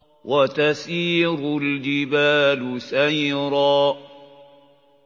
وَتَسِيرُ الْجِبَالُ سَيْرًا